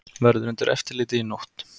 Verður undir eftirliti í nótt